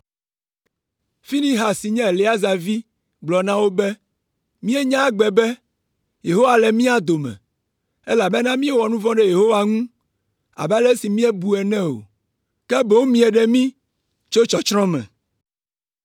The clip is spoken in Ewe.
Finehas si nye Eleaza vi gblɔ na wo be, “Míenya egbe be, Yehowa le mía dome, elabena míewɔ nu vɔ̃ ɖe Yehowa ŋu abe ale si míebu ene o, ke boŋ mieɖe mí tso tsɔtsrɔ̃ me!”